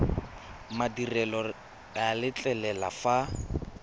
madirelo le a letlelela fa